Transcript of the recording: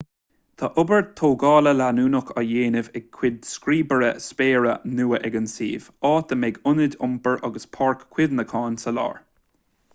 tá obair tógála leanúnach á déanamh ar chúig scríobaire spéire nua ag an suíomh áit a mbeidh ionad iompair agus páirc chuimhneacháin sa lár